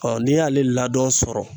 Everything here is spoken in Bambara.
n'i y'ale ladɔn sɔrɔ